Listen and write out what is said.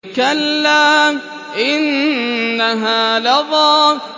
كَلَّا ۖ إِنَّهَا لَظَىٰ